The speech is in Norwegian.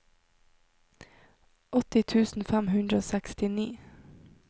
åtti tusen fem hundre og sekstini